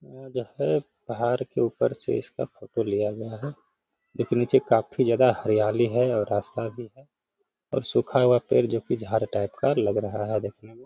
यहां जो है पहाड़ के ऊपर से इसका फोटो लिया गया है लेकिन नीचे काफी ज्यादा हरियाली है और रास्ता भी है और सूखा हुआ पेड़ जो कि झाड़ टाइप का लग रहा है देखने मे --